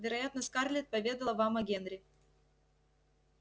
вероятно скарлетт поведала вам о генри